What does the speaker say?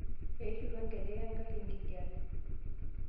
Eishutua njekej eng'arri enkijape